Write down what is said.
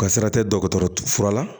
Ka sira tɛ dɔgɔtɔrɔ fura la